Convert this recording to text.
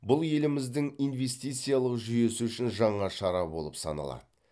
бұл еліміздің инвестициялық жүйесі үшін жаңа шара болып саналады